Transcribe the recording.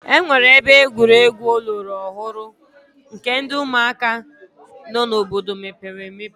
E nwere ebe egwuregwu ọlọrọ ọhụrụ nke ndị ụmụaka nọ n'obodo mepere emepe.